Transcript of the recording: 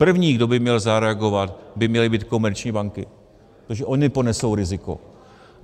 První, kdo by měl zareagovat, by měly být komerční banky, protože ony ponesou riziko.